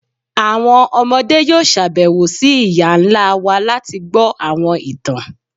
Àwọn ọmọde yóò ṣabẹwo sí iyá ńlá wá lati gbọ awọn ìtàn.